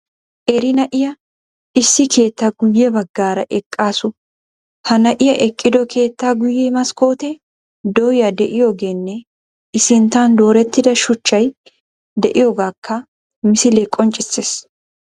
Qeeri na"iya issi keettaa guyye baggaara eqqaasu. Ha na''iya eqqido keettaa guyye maskkootee dooya de'iyogeenne I sinttan doorettida shuchchay de"iyogaakka misilee qonccissees